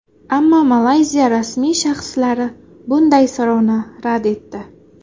Ammo Malayziya rasmiy shaxslari bunday so‘rovni rad etdi.